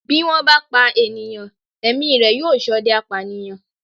Bí wọ́n bá pa ènìyàn, ẹ̀mí rẹ̀ yóò ṣọdẹ apànìyàn.